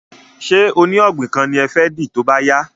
Ṣé oní ògbìn kan ni ẹ fẹ́ dì tóbá yá